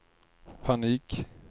panik